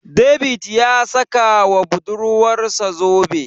David ya saka ma budurwarsa zobe.